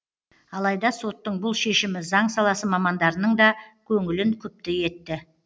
алайда соттың бұл шешімі заң саласы мамандарының да көңілін күпті етті